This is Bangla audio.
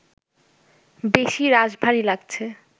বেশি রাশভারী লাগছে